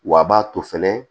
Wa a b'a to fɛnɛ